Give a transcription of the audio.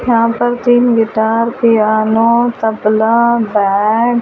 यहां पर तीन गिटार प्यानो तबला बैंड।